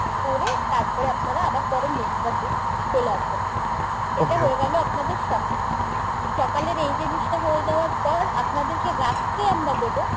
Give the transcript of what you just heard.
করে তারপরে আপনারা আবার পরের next bus এ চলে আসতে পারেন এটা হয়ে গেল আপনাদের সকাল সকালের এই জিনিসটা হয়ে যাওয়ার পর আপনাদেরকে রাত্রে আমরা দেবো